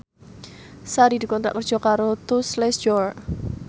Sari dikontrak kerja karo Tous Les Jour